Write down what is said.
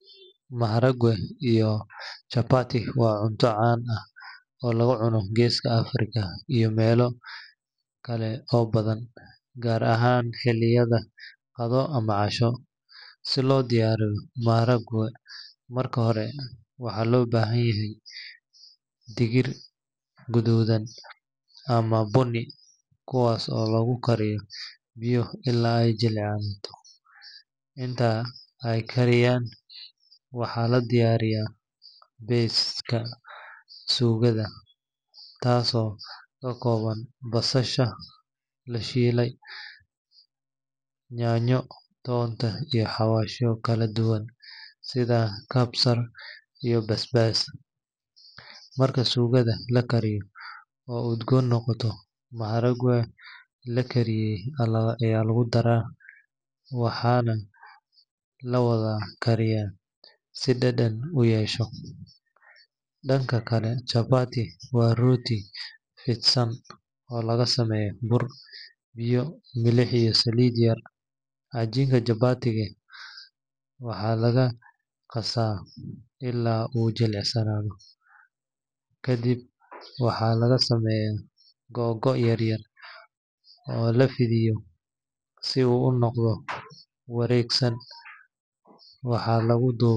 Maharagwee iyo chaababati wabcunto can eeh oo lagucunoh keesga afrika iyo melokali oo bathan kaar ahaan xeliyada Qathoh amah cashoo, sithi lodiraini maharagwee marka hori waxalobahanyahay digiir kuthothan amah booni kuwasi lagu kariyoh biya ila jeclani intaasi aykaran waxa ladiyariy setha kabsaar iyo baasbar maharagwee lagu darah dangakali danga chaababati waxalagaqasah ila oo jelecsanatho kadib waxlaga sameyah ko yaryar oo lafethiyoh iyo si oo u noqdoh wargsan waxa lagu dubah.